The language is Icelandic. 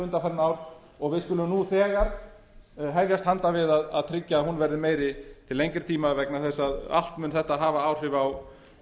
undanfarin ár og við skulum nú þegar hefjast handa við að tryggja að hún verði meiri til lengri tíma vegna þess að allt mun þetta hafa áhrif á